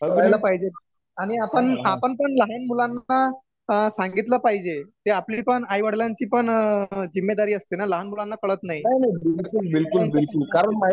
कळायला पाहिजे, आणि आपण आपण पण लहान मुलांना सांगितलं पाहिजे ते आपली पण आईवडिलांची पण जिम्मेदारी असते ना लहान मुलांना कळत नाही